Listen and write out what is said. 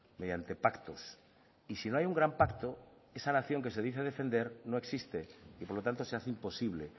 mediante pactos y si no hay un gran pacto esa nación que se dice defender no existe y por lo tanto se hace imposible